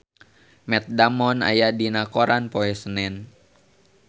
Matt Damon aya dina koran poe Senen